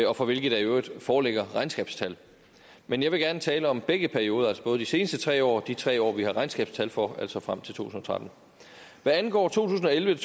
og for hvilke der i øvrigt foreligger regnskabstal men jeg vil gerne tale om begge perioder altså både de seneste tre år og de tre år vi har regnskabstal for altså frem til to tusind og tretten hvad angår to tusind og elleve